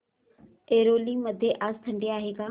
ऐरोली मध्ये आज थंडी आहे का